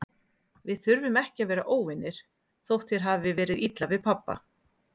Við þurfum ekki að vera óvinir, þótt þér hafi verið illa við pabba.